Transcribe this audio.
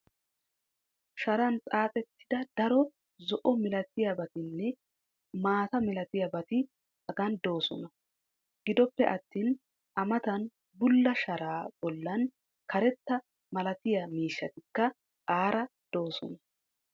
sharan xaaxettida daro zo'o malattiyaabatinne maata malattiyabati hagan doosona. gidoppe attin a matan bulla sharaa bolan karetta malattiya miishshatikka aara doosona.